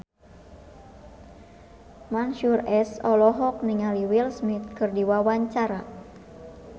Mansyur S olohok ningali Will Smith keur diwawancara